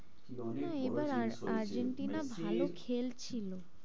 না এবার আহ আর্জেন্টিনা ভালো খেলছিল,